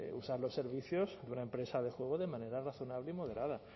usar los servicios de una empresa de juego de manera razonable y moderada